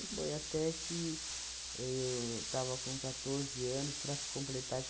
E foi até que eu estava com quatorze anos para completar